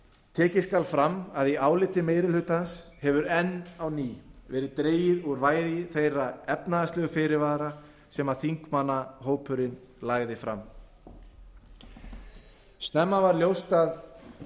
tekið skal fram að í áliti meiri hlutans hefur enn á ný verið dregið úr vægi þeirra efnahagslegu fyrirvara sem þingmannahópurinn lagði fram snemma varð ljóst að